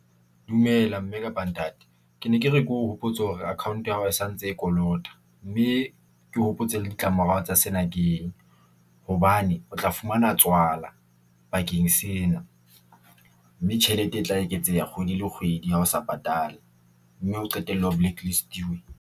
Dumela mme kapa ntate. Ke ne ke re ke o hopotse hore account ya hao sa ntse e kolota mme ke o hopotse le ditlamorao tsa sena. Ke hobane o tla fumana tswala bakeng sena mme tjhelete e tla eketseha kgwedi le kgwedi. Ha o sa patale, mme o qetelle o blacklist-iwe.